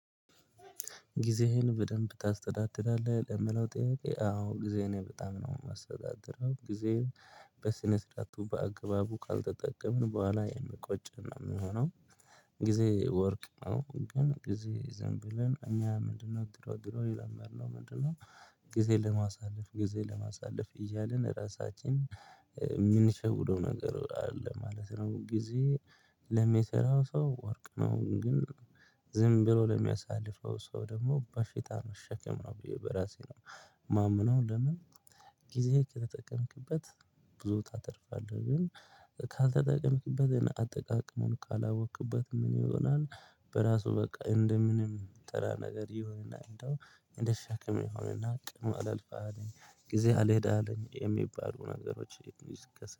ጊዜህን በደንብ ታስተዳድራለህ? ለሚለው ጥያቄ አዎ ጊዜየን እኔ በጣም ነው የማስተዳድረው። በስነ ስርዓቱ በአግባቡ ካልተጠቀምን በኋላ የሚቆጨን ነው የሚሆነው። ጊዜ ወርቅ ነው። ጊዜ ዘንብለን እኛ ምንድነው ድሮ ድሮ የለመድነው ምንድነው ጊዜ ለማሳለፍ ጊዜ ለማሳለፍ እያልን ራሳችን የምንሸውደው ነገር አለ ማለት ነው። ጊዜ ለሚሰራ ሰው ወርቅ ነው። ግን ዝም ብሎ ለሚያሳልፈው ሰው ደግሞ በሽታ መሸከም ነው ብዬ በራሴ ነው ማምመነው። ለምን ጊዜ ከተጠቀምክበት ብዙ ታተርፋለህ። ግን ካልተጠቀምክበት አጠቃቀሙን ካላወቅክበት ምን ይሆናል በራሱ በቃ እንደ ምንም ተራ ነገር ይሆናል። እና እንደ ሸክም ይሁንና ቀኑ አላልፍም አለኝ? ጊዜ አልሄድ አለኝ? የሚባሉ ነገሮች